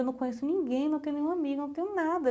Eu não conheço ninguém, não tenho nenhum amigo, não tenho nada.